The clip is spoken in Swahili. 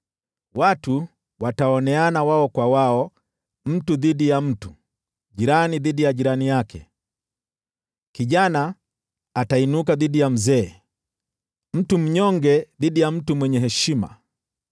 Watu wataoneana wao kwa wao: mtu dhidi ya mtu, na jirani dhidi ya jirani yake. Kijana atainuka dhidi ya mzee, mtu mnyonge dhidi ya mtu mwenye heshima.